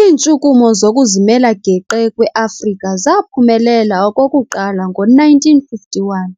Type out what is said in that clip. Iintshukumo zokuzimela geqe kweAfrika zaphumelela okokuqala ngo-1951,